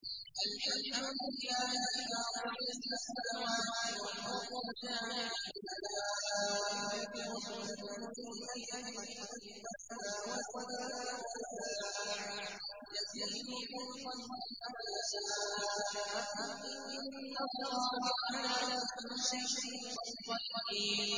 الْحَمْدُ لِلَّهِ فَاطِرِ السَّمَاوَاتِ وَالْأَرْضِ جَاعِلِ الْمَلَائِكَةِ رُسُلًا أُولِي أَجْنِحَةٍ مَّثْنَىٰ وَثُلَاثَ وَرُبَاعَ ۚ يَزِيدُ فِي الْخَلْقِ مَا يَشَاءُ ۚ إِنَّ اللَّهَ عَلَىٰ كُلِّ شَيْءٍ قَدِيرٌ